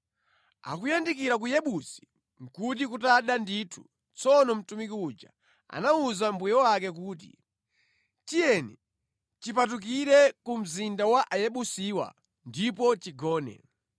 Akuyandikira ku Yebusi nʼkuti kutada ndithu. Tsono mtumiki uja anawuza mbuye wake kuti, “Tiyeni, tipatukire ku mzinda wa Ayebusiwa ndipo tigone.”